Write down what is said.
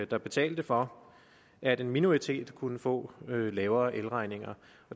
der betalte for at en minoritet kunne få lavere elregninger